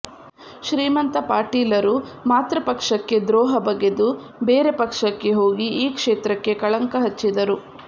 ಶ್ರೀಮಂತ ಪಾಟೀಲರು ಮಾತೃಪಕ್ಷಕ್ಕೆ ದ್ರೋಹ ಬಗೆದು ಬೇರೆ ಪಕ್ಷಕ್ಕೆ ಹೋಗಿ ಈ ಕ್ಷೇತ್ರಕ್ಕೆ ಕಳಂಕ ಹಚ್ಚಿದರು